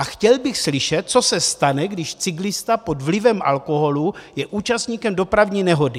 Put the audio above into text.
A chtěl bych slyšet, co se stane, když cyklista pod vlivem alkoholu je účastníkem dopravní nehody.